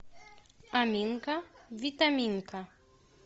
аминка витаминка